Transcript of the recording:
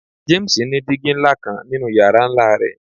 James ni digi nla kan ninu yara nla rẹ